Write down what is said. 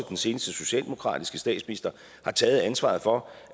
den seneste socialdemokratiske statsminister har taget ansvaret for